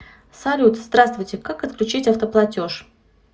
салют здраствуйте как отключить автоплатеж